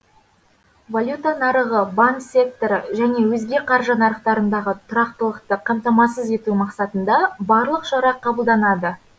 валюта нарығы банк секторы және өзге қаржы нарықтарындағы тұрақтылықты қамтамасыз ету мақсатында барлық шара қабылданады